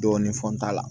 Dɔɔnin funt'a la